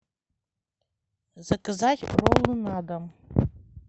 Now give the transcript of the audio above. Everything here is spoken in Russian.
заказать роллы на дом